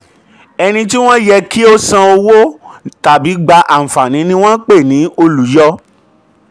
ẹni tí wọ́n yẹ kí ó san san um owó tàbí gba àǹfààní ni wọ́n ń pè ní olùyọ.